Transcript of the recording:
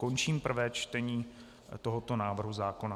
Končím prvé čtení tohoto návrhu zákona.